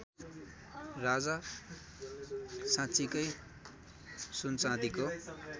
राजा साँच्चिकै सुनचाँदीको